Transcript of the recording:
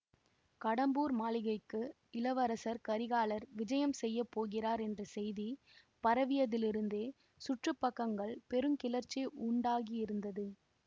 கடம்பூர் மாளிகைக்கு இளவரசர் கரிகாலர் விஜயம் செய்ய போகிறார் என்ற செய்தி பரவியதிலிருந்தே சுற்று பக்கங்கள் பெரு கிளர்ச்சி உண்டாகியிருந்தது